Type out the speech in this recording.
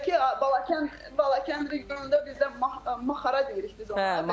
Bir də ki, Balakənd Balakənd regionunda bizdə mahara deyirik biz ona.